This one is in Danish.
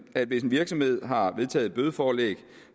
at hvis en virksomhed har vedtaget et bødeforlæg